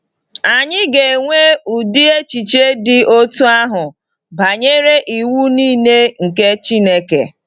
Anyị ga-enwe ụdị echiche dị otú ahụ banyere iwu niile nke Chineke.